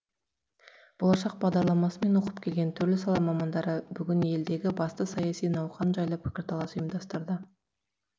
болашақ бағдарламасымен оқып келген түрлі сала мамандары бүгін елдегі басты саяси науқан жайлы пікірталас ұйымдастырды